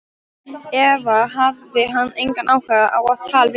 Eða hafði hann engan áhuga á að tala við hana?